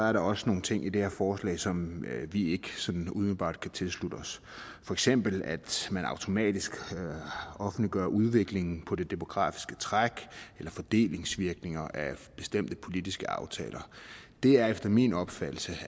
er der også nogle ting i det her forslag som vi ikke sådan umiddelbart kan tilslutte os for eksempel at man automatisk offentliggører udviklingen på det demografiske træk eller fordelingsvirkninger af bestemte politiske aftaler det er efter min opfattelse